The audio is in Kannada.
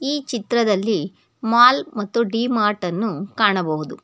ಈ ಚಿತ್ರದಲ್ಲಿ ಮಾಲ್ ಮತ್ತು ಡಿ ಮಾರ್ಟ್ ಅನ್ನು ಕಾಣಬಹುದು.